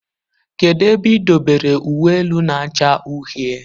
Kedụ ebe idobere uwe elu na-acha uhie?